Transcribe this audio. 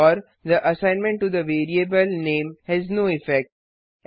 और the assignment to the variable name has no effect